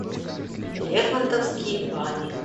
лермонтовские бани